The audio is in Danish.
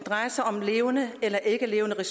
og